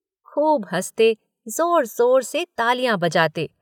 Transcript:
खूब हंसते, ज़ोर ज़ोर से तालियाँ बजाते।